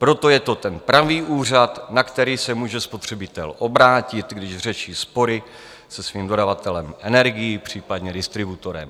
Proto je to ten pravý úřad, na který se může spotřebitel obrátit, když řeší spory se svým dodavatelem energií, případně distributorem.